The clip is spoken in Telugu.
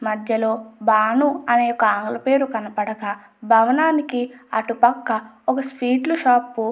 మధ్యలో భాను అనే ఒక ఆమె పేరు కనపడక భవనానికి అటుపక్క ఒక స్వీట్ లు షాపు --